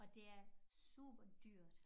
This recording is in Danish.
Og det er superdyrt